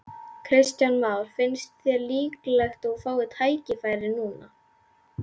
Kristján Már: Finnst þér líklegt að þú fáir tækifæri núna?